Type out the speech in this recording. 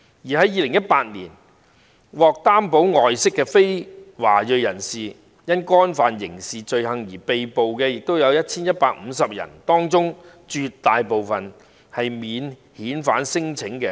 在2018年，獲擔保外釋的非華裔人士因干犯刑事罪行而被拘捕的有 1,150 人，當中絕大部分是免遣返聲請的人。